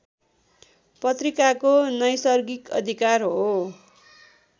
पत्रिकाको नैसर्गिक अधिकार हो